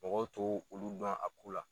Mɔgɔw to olu dɔn a ko la.